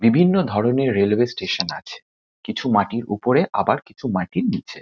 বিভিন্ন ধরণের railway station আছে। কিছু মাটির উপরে আবার কিছু মাটির নীচে।